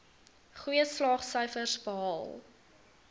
goeie slaagsyfers behaal